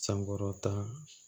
San wɔɔrɔ ta